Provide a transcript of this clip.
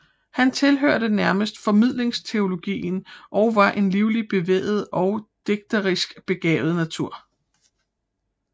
Han tilhørte nærmest formidlingsteologien og var en livlig bevæget og digterisk begavet natur